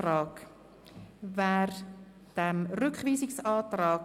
Wer den Rückweisungsantrag